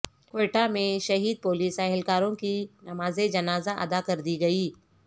کوئٹہ میں شہید پولیس اہلکاروں کی نماز جنازہ ادا کر دی گئی